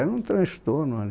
Era um transtorno ali.